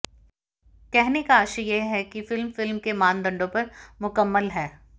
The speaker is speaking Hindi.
कहने का आशय यह कि फ़िल्म फ़िल्म के मानदंडों पर मुकम्मल है